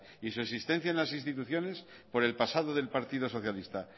y su existencia en las instituciones por el pasado del partido socialista